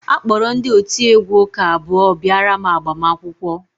A kpọrọ ndị otiegwu ụka abụọ bịara agbamakwụkwọ m